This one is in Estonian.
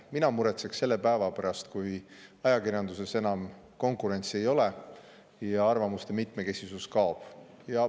Mina muretseks selle päeva pärast, kui ajakirjanduses enam konkurentsi ei ole ja arvamuste mitmekesisus kaob.